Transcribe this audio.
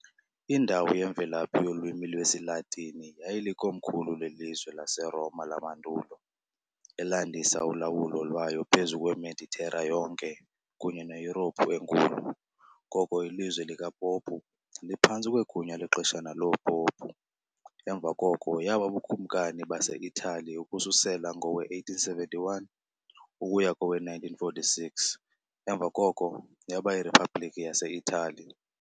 Indawo yemvelaphi yolwimi lwesiLatini, yayilikomkhulu lelizwe laseRoma lamandulo, elandisa ulawulo lwayo phezu kweMeditera yonke kunye neYurophu enkulu, ngoko iLizwe likaPopu, liphantsi kwegunya lexeshana loopopu, emva koko yaba buBukumkani baseItali ukususela ngowe-1871 ukusa kowe-1946, emva koko yaba yiRiphabliki yaseItali.